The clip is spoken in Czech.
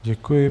Děkuji.